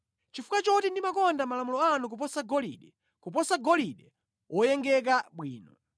Chifukwa choti ndimakonda malamulo anu kuposa golide, kuposa golide woyengeka bwino,